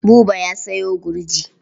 Buba ya sayo gurji.